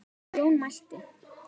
Jón mælti